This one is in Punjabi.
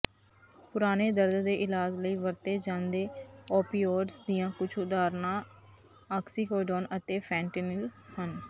ਪੁਰਾਣੇ ਦਰਦ ਦੇ ਇਲਾਜ ਲਈ ਵਰਤੇ ਜਾਂਦੇ ਓਪੀਓਡਜ਼ ਦੀਆਂ ਕੁਝ ਉਦਾਹਰਣਾਂ ਆਕਸੀਕੋਡੋਨ ਅਤੇ ਫੈਂਟੈਨਿਲ ਹਨ